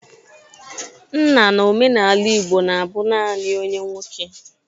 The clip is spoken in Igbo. Nna n'omenala Igbo na-abụ nani onye nwoke.